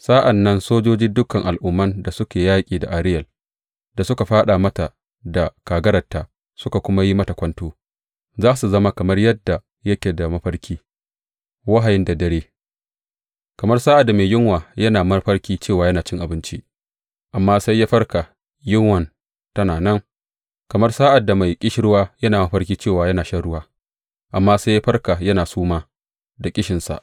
Sa’an nan sojojin dukan al’umman da suka yi yaƙi da Ariyel, da suka fāɗa mata da kagararta suka kuma yi mata kwanto, za su zama kamar yadda yake da mafarki, wahayi da dare, kamar sa’ad da mai yunwa yana mafarki cewa yana cin abinci, amma sai ya farka, yunwan tana nan; kamar sa’ad da mai ƙishirwa yana mafarki cewa yana shan ruwa, amma sai ya farka yana suma, da ƙishinsa.